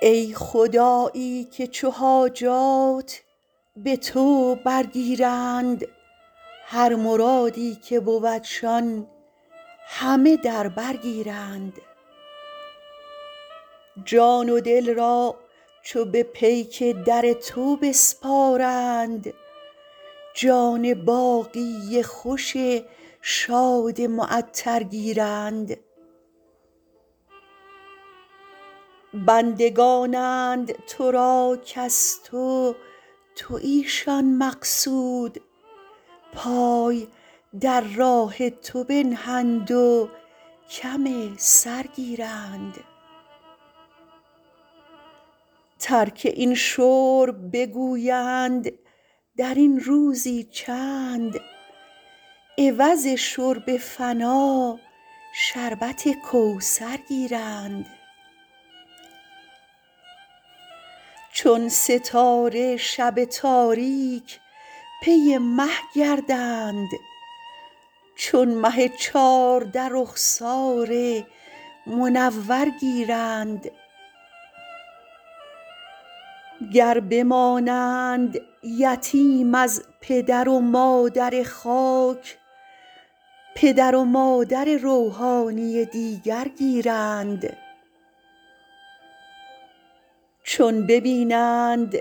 ای خدایی که چو حاجات به تو برگیرند هر مرادی که بودشان همه در بر گیرند جان و دل را چو به پیک در تو بسپارند جان باقی خوش شاد معطر گیرند بندگانند تو را کز تو تویشان مقصود پای در راه تو بنهند و کم سر گیرند ترک این شرب بگویند در این روزی چند عوض شرب فنا شربت کوثر گیرند چون ستاره شب تاریک پی مه گردند چو مه چارده رخسار منور گیرند گر بمانند یتیم از پدر و مادر خاک پدر و مادر روحانی دیگر گیرند چون ببینند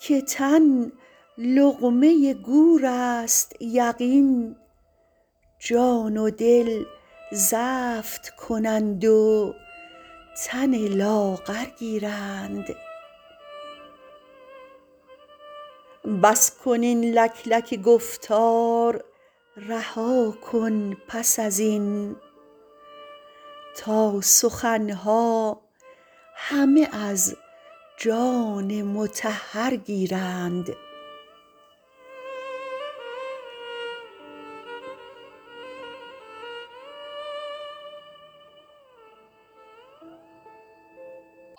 که تن لقمه گورست یقین جان و دل زفت کنند و تن لاغر گیرند بس کن این لکلک گفتار رها کن پس از این تا سخن ها همه از جان مطهر گیرند